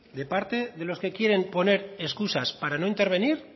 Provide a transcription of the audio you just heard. de parte de los que quieren poner excusas para no intervenir